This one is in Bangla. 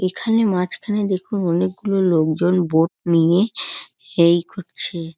এখানে মাজখানে দেখুন অনেকগুলো লোকজন বোট নিয়েএই খুজছে ।